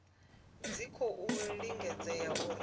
dzi tshi khou lingedza uri